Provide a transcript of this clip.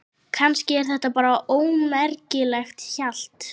Kannski er þetta bara ómerkilegt hjal.